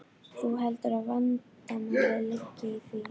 Þú heldur að vandamálið liggi í því?